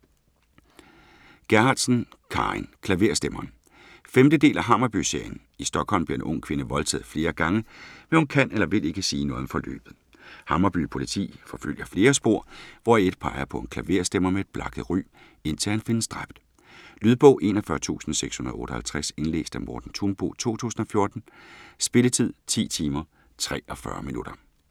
Gerhardsen, Carin: Klaverstemmeren 5. del af Hammarby-serien. I Stockholm bliver en ung kvinde voldtaget flere gange, men hun kan eller vil ikke sige noget om forløbet. Hammarby Politi forfølger flere spor, hvoraf et peger på en klaverstemmer med et blakket ry - indtil han findes dræbt. Lydbog 41658 Indlæst af Morten Thunbo, 2014. Spilletid: 10 timer, 43 minutter.